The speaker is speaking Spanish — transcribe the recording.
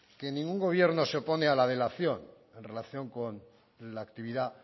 que ningún gobierno se opone a la en relación con la actividad